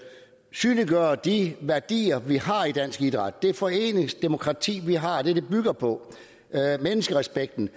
synliggøre de værdier vi har i dansk idræt det foreningsdemokrati vi har og det det bygger på respekten